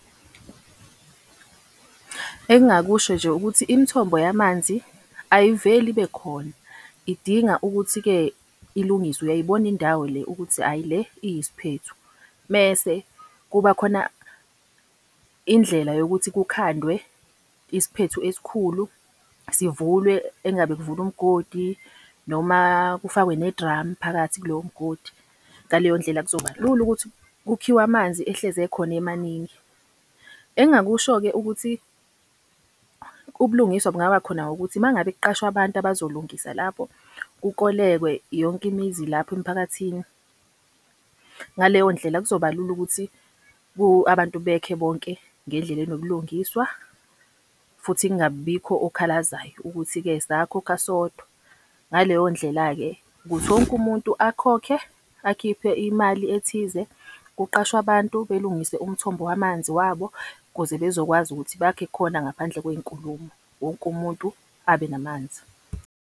Engingakusho nje ukuthi imithombo yamanzi ayiveli ibe khona, idinga ukuthi-ke ilungiswe. Uyayibona indawo le ukuthi ayi le iyisiphethu. Mese kuba khona indlela yokuthi kukhandwe isiphethu esikhulu, sivulwe, engabe kuvulwa umgodi noma kufakwe nedramu phakathi kulowo mgodi. Ngaleyo ndlela kuzobalula ukuthi kukhiwe amanzi, ehlezi ekhona emaningi. Engingakusho-ke ukuthi ubulungiswa bungaba khona ngokuthi uma ngabe kuqashwa abantu abazolungisa lapho, kukolekwe yonke imizi lapho emphakathini. Ngaleyo ndlela kuzoba lula ukuthi abantu bekhe bonke ngendlela enobulungiswa futhi kungabi bikho okhalazayo ukuthi-ke sakhokha sodwa. Ngaleyo ndlela-ke ukuthi wonke umuntu akhokhe, akhiphe imali ethize, kuqashwe abantu belungise umthombo wamanzi wabo ukuze bezokwazi ukuthi bakhe khona ngaphandle kwey'nkulumo. Wonke umuntu abe namanzi.